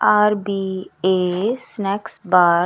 RBS snacks bar --